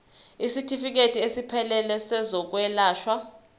isitifikedi esiphelele sezokwelashwa